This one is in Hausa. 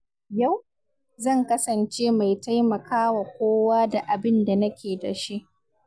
Yau, zan kasance mai taimakawa kowa da abin da nake da shi.